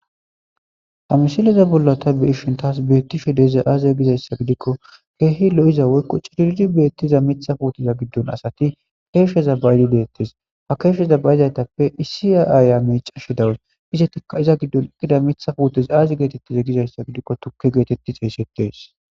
Ha misileza bolla ta beyishn tasi beyishe dizay aze gizaysa gidikon keeh lo'iza woyko cilil beetiza mitha puuteta gidon asati kesheza ba'idi detesi, ha kesheza ba'izaytappe issi Aya miicashe dawusi ,izetika iza gidon eqida Mitha puutes aazi getetiza gizaysa gidikon tuke geteti xeysetetesi